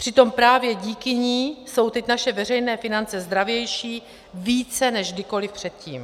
Přitom právě díky ní jsou teď naše veřejné finance zdravější, více než kdykoli předtím.